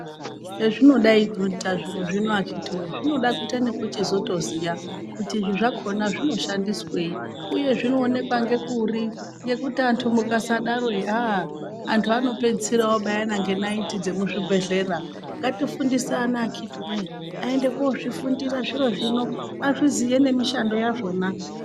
Hezvinodai kuita zviro zvino akiti weee zvinoda kuita nekuchizotoziya kuti izvi zvakona zvinoshandisweyi uye zvinoonekwa ngekuri, ngekuti antu mukasadaro aha antu anopedzisira oobayana ngenayiti dzemuzvibhehlera. Ngatifundise ana akitiwee aende kunozviziya zviro zvino, azviziye nemishando yazvona.